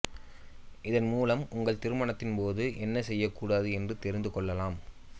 இதன் மூலம் உங்கள் திருமணத்தின் போது என்ன செய்ய கூடாது என்று தெரிந்துக்கொள்ளலாம்